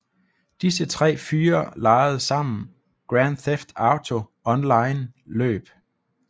Disse tre fyre legede sammen Grand Theft Auto Online løb